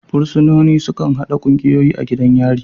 Fursunoni sukan haɗa ƙungiyoyi a gidan yari.